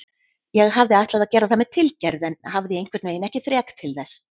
Ég hafði ætlað að gera það með tilgerð en hafði einhvernveginn ekki þrek til þess.